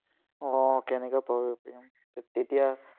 উম কেনেকে তেতিয়া,